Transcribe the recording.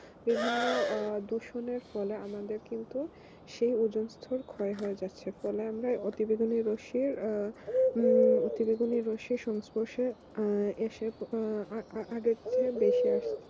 বিভিন্ন দূষণের ফলে আমাদের কিন্তু সেই ওজোন স্তর ক্ষয় হয়ে যাচ্ছে ফলে অতি বেগুনের রশ্মি হম প্রতিবেগুনে রশ্মি সংস্পর্শে এসে আহ বেশি